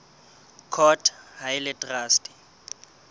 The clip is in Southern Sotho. court ha e le traste